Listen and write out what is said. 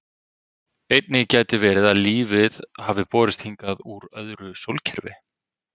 Einnig gæti verið að lífið hafi borist hingað úr öðru sólkerfi.